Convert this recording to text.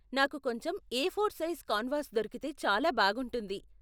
నాకు కొంచెం A four size canvas దొరికితే చాలా బాగుంటుంది.